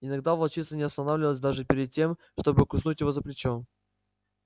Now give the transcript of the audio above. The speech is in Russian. иногда волчица не останавливалась даже перед тем чтобы куснуть его за плечо